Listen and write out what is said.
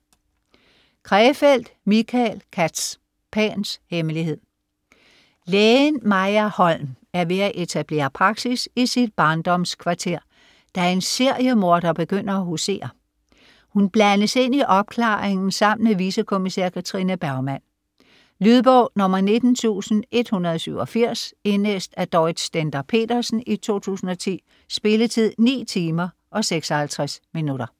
Krefeld, Michael Katz: Pans hemmelighed Lægen Maja Holm er ved at etablere praksis i sit barndomskvarter, da en seriemorder begynder at husere. Hun blandes ind i opklaringen sammen med vicekommissær Katrine Bergman. Lydbog 19187 Indlæst af Dorrit Stender-Petersen, 2010. Spilletid: 9 timer, 56 minutter.